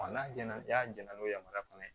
n'a jɛnɛna n'a jɛn n'o yamaruya fana ye